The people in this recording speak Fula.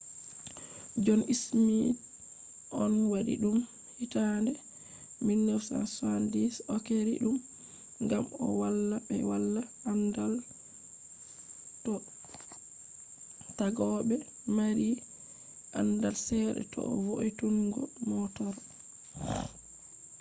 john smith on wadi dum hitande 1970s o’keeri dum ngam o valla be wala andaal do taggobe maari andal sedda do vo’itunungo motor